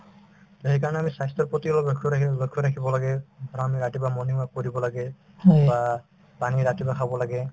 তে সেইকাৰণে আমি স্বাস্থ্যৰ প্ৰতি অলপ লক্ষ্য ৰাখি লক্ষ্য ৰাখিব লাগে আৰু আমি ৰাতিপুৱা morning walk কৰিব লাগে বা পানী ৰাতিপুৱা খাব লাগে